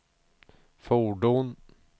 fordon